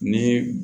Ni